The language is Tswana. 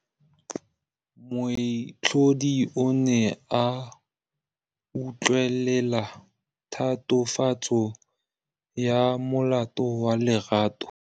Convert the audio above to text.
Moatlhodi o ne a utlwelela tatofatsô ya molato wa Lerato.